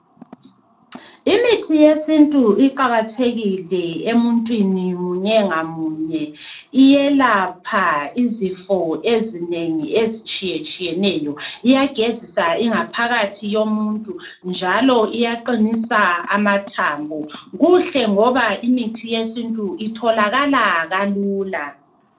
Imithi yesintu iqakathekile emuntwini munye ngamunye, iyelapha izifo ezinengi ezitshiyetshiyeneyo. Iyagezisa ingaphakathi yomuntu njalo iyaqinisa amathambo. Kuhle ngoba imithi yesintu itholakala kalula.